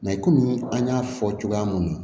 komi an y'a fɔ cogoya mun na